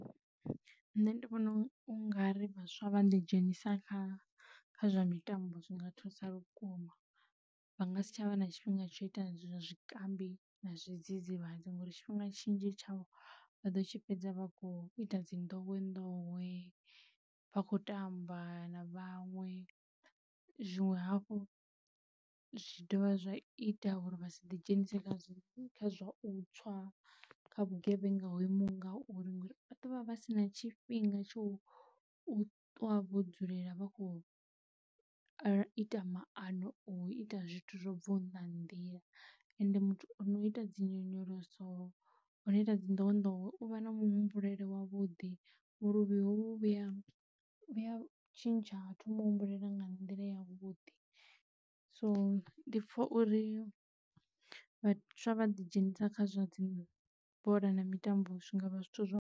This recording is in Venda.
Nṋe ndi vhona ungari vhaswa vha ḓi dzhenisa kha kha zwa mitambo zwi nga thusa vhukuma, vha nga si tshavha na tshifhinga tshau ita zwa zwikambi na zwidzidzivhadzi ngouri tshifhinga tshinzhi tshavho vha ḓo tshi fhedza vha khou ita dzi nḓowenḓowe vha kho tamba na vhaṅwe. Zwiṅwe hafhu zwi dovha zwa ita uri vha si ḓi dzhenise kha kha zwa u tswa kha vhugevhenga ho imaho ngauri ngauri vha ḓo vha vha si na tshifhinga tsho ṱwa vho dzulela vha khou ita maano au ita zwithu zwo bvaho nga nnḓa ha nḓila. Ende muthu o no ita dzi nyonyoloso o no ita dzi ndowendowe u vha na muhumbulele wavhuḓi vhuluvhi hovhu vhuya vhuya tshintsha ha thoma u humbulela nga nḓila ya vhuḓi. So, ndi pfha uri vhaswa vha ḓi dzhenisa kha zwa dzi bola na mitambo zwi ngavha zwithu zwa .